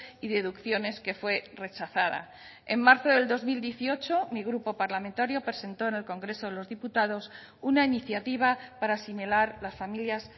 y deducciones que fue rechazada en marzo del dos mil dieciocho mi grupo parlamentario presentó en el congreso de los diputados una iniciativa para asimilar las familias